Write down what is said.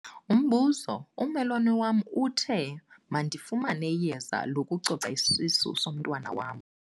Umbuzo- Ummelwane wam uthe mandifumane iyeza lokucoca isisu somntwana wam.